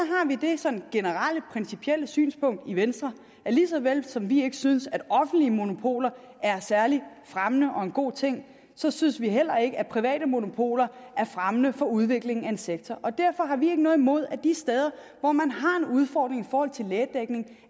vi det sådan generelle principielle synspunkt i venstre at lige så vel som vi ikke synes at offentlige monopoler er særlig fremmende og en god ting så synes vi heller ikke at private monopoler er fremmende for udviklingen af en sektor derfor har vi ikke noget imod at man de steder hvor man har en udfordring i forhold til lægedækning